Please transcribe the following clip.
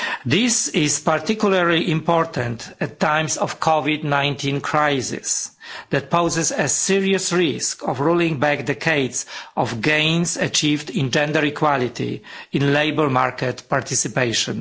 This is particularly important in times of the COVID 19 crisis, which poses a serious risk of rolling back decades of gains achieved in gender equality in labour market participation.